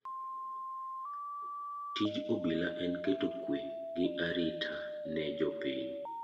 Tij obila en keto kwe gi arita ne jopiny.